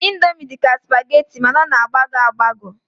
Indomi dị ka spageti mana ọ na-agbagọ agbagọ